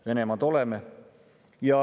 Venemaa oleme.